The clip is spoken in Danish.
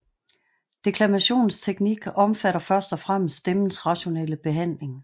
Deklamationens teknik omfatter først og fremmest stemmens rationelle behandling